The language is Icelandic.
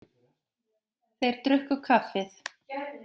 Þeir drukku kaffið.